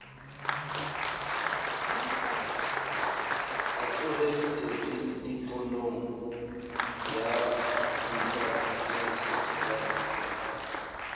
a tlohe tekenikonong ya witwatersrand